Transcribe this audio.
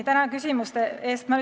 Tänan küsimuste eest!